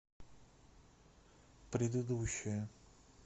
предыдущая